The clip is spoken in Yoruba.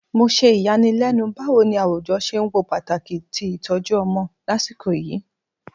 Mo ṣe iyanilenu bawo ni awujọ ṣe n wo pataki ti itọju ọmọ lasiko yii